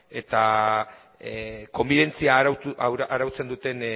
eta konbibentzia arautzen duten